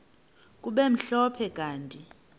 kube mhlophe kanti